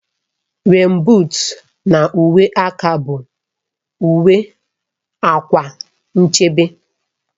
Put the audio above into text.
Rèèn buut na uwe aka bụ uwe / akwa nchebe